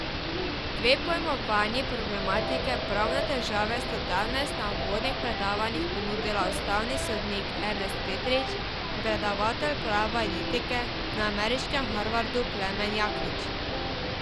Dve pojmovanji problematike pravne države sta danes na uvodnih predavanjih ponudila ustavni sodnik Ernest Petrič in predavatelj prava in etike na ameriškem Harvardu Klemen Jaklič.